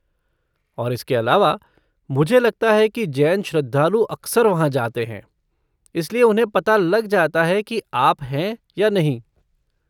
और इसके अलावा, मुझे लगता है कि जैन श्रद्धालु अक्सर वहाँ जाते हैं, इसलिए उन्हें पता लग जाता है कि आप हैं या नहीं।